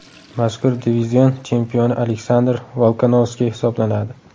Mazkur divizion chempioni Aleksandr Volkanovski hisoblanadi.